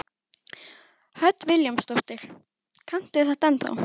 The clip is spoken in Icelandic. Hödd Vilhjálmsdóttir: Kanntu þetta ennþá?